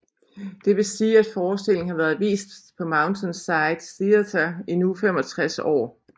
Det vil sige at forestillingen har været vist på Mountainside Theater i nu 65 år